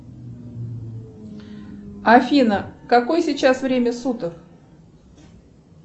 афина какое сейчас время суток